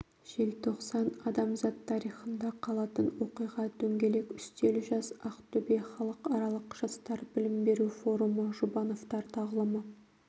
желтоқсан адамзат тарихында қалатын оқиға дөңгелек үстел жас ақтөбе халықаралық жастар білім беру форумы жұбановтар тағылымы